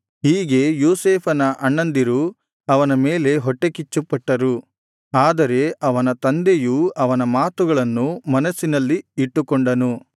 ಹೀಗೆ ಯೋಸೇಫನ ಅಣ್ಣಂದಿರು ಅವನ ಮೇಲೆ ಹೊಟ್ಟೆಕಿಚ್ಚುಪಟ್ಟರು ಆದರೆ ಅವನ ತಂದೆಯು ಅವನ ಮಾತುಗಳನ್ನು ಮನಸ್ಸಿನಲ್ಲಿ ಇಟ್ಟುಕೊಂಡನು